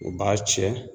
U b'a cɛ